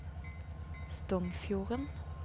Stongfjorden